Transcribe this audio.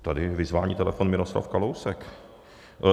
Tady vyzvání telefon, Miroslav Kalousek.